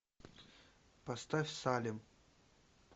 поставь салем